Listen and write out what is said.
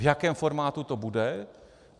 V jakém formátu to bude?